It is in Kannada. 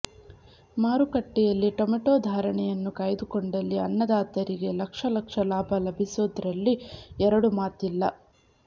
ಮಾರುಕಟ್ಟೆಯಲ್ಲಿ ಟೊಮೆಟೋ ಧಾರಣೆಯನ್ನು ಕಾಯ್ದುಕೊಂಡಲ್ಲಿ ಅನ್ನದಾತರಿಗೆ ಲಕ್ಷ ಲಕ್ಷ ಲಾಭ ಲಭಿಸೋದ್ರಲ್ಲಿ ಎರಡು ಮಾತಿಲ್ಲ